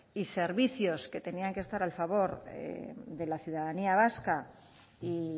y servicios que tenían que estar al favor de la ciudadanía vasca y